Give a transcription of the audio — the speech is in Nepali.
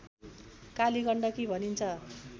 काली गण्डकी भनिन्छ